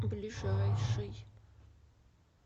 ближайший